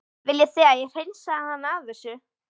Viljið þið að ég hreinsið hana af þessu?